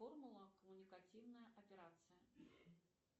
формула коммуникативная операция